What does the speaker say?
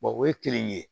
o ye kelen ye